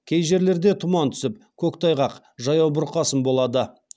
кей жерлерде тұман түсіп көктайғақ жаяу бұрқасын болады